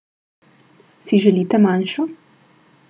Si želite manjšo?